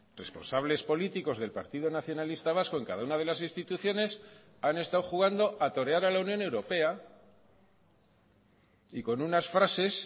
responsables políticos del partido nacionalista vasco en cada una de las instituciones han estado jugando a torear a la unión europea y con unas frases